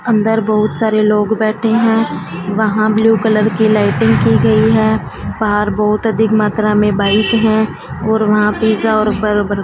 अंदर बहुत सारे लोग बैठे हैं। वहाँ ब्ल्यू कलर कि लाइटिंग कियी गई हैं। बाहर बहुत अधिक मात्रा में बाइक हैं और वहाँ पिज्जा और बर बर्गर --